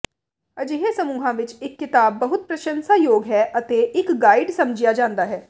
ਅਜਿਹੇ ਸਮੂਹਾਂ ਵਿੱਚ ਇਹ ਕਿਤਾਬ ਬਹੁਤ ਪ੍ਰਸੰਸਾਯੋਗ ਹੈ ਅਤੇ ਇੱਕ ਗਾਈਡ ਸਮਝਿਆ ਜਾਂਦਾ ਹੈ